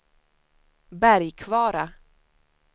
Bergkvara